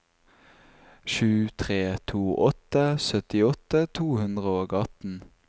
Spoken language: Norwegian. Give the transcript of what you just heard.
sju tre to åtte syttiåtte to hundre og atten